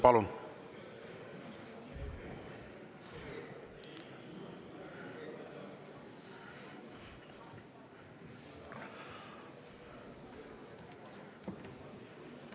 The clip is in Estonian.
Palun!